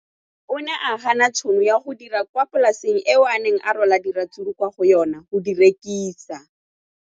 O ne a gana tšhono ya go dira kwa polaseng eo a neng rwala diratsuru kwa go yona go di rekisa.